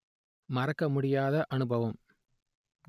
மறக்க முடியாத அனுபவம்